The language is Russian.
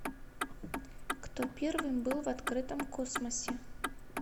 кто первым был в открытом космосе